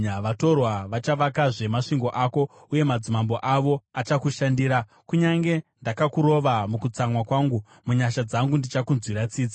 “Vatorwa vachavakazve masvingo ako, uye madzimambo avo achakushandira. Kunyange ndakakurova mukutsamwa kwangu, munyasha dzangu ndichakunzwira tsitsi.